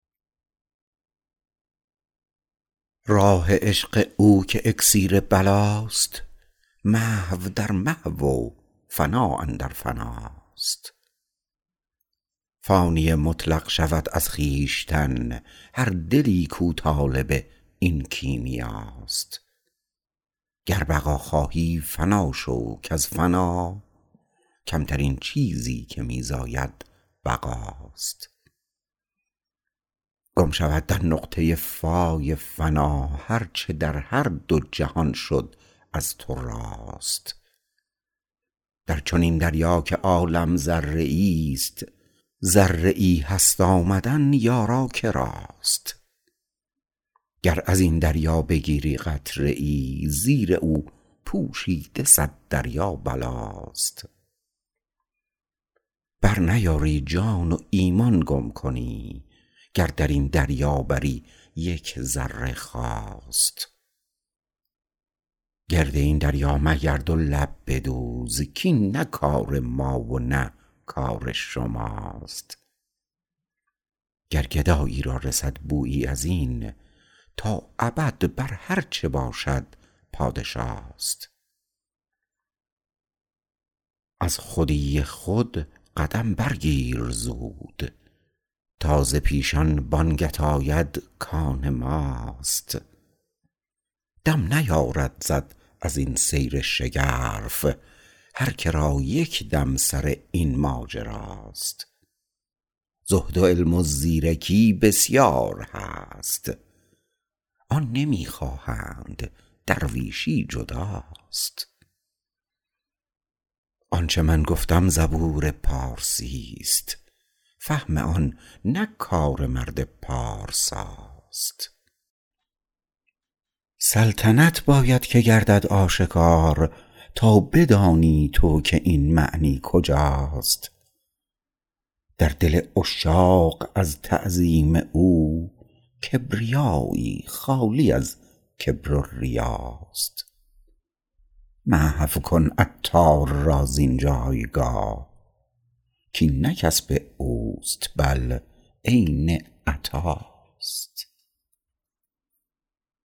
راه عشق او که اکسیر بلاست محو در محو و فنا اندر فناست فانی مطلق شود از خویشتن هر دلی کو طالب این کیمیاست گر بقا خواهی فنا شو کز فنا کمترین چیزی که می زاید بقاست گم شود در نقطه فای فنا هر چه در هر دو جهان شد از تو راست در چنین دریا که عالم ذره ای است ذره ای هست آمدن یارا کراست گر ازین دریا بگیری قطره ای زیر او پوشیده صد دریا بلاست برنیاری جان و ایمان گم کنی گر درین دریا بری یک ذره خواست گرد این دریا مگرد و لب بدوز کین نه کار ما و نه کار شماست گر گدایی را رسد بویی ازین تا ابد بر هرچه باشد پادشاست از خودی خود قدم برگیر زود تا ز پیشان بانگت آید کان ماست دم نیارد زد ازین سیر شگرف هر که را یک دم سر این ماجراست زهد و علم و زیرکی بسیار هست آن نمی خواهند درویشی جداست آنچه من گفتم زبور پارسی است فهم آن نه کار مرد پارساست سلطنت باید که گردد آشکار تا بدانی تو که این معنی کجاست در دل عشاق از تعظیم او کبریایی خالی از کبر و ریاست محو کن عطار را زین جایگاه کین نه کسب اوست بل عین عطاست